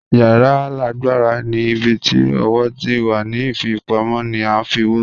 Yara laagbara ni ibi ti owo ti wa ni fipamọ ni a ifowo